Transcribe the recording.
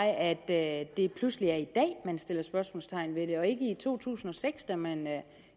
at det pludselig er i dag man sætter spørgsmålstegn ved det og ikke i to tusind og seks da man